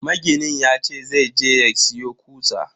Maginin yace zai je ya siyo kutsa.